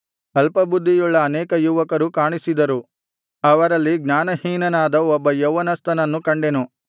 ಅಲ್ಪಬುದ್ಧಿಯುಳ್ಳ ಅನೇಕ ಯುವಕರು ಕಾಣಿಸಿದರು ಅವರಲ್ಲಿ ಜ್ಞಾನಹೀನನಾದ ಒಬ್ಬ ಯೌವನಸ್ಥನನ್ನು ಕಂಡೆನು